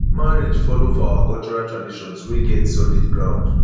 marriage follow for our cultural traditions wey get solid ground